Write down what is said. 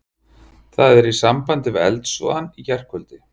Það er í sambandi við eldsvoðann í gærkvöldi.